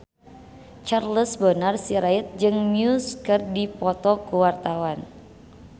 Charles Bonar Sirait jeung Muse keur dipoto ku wartawan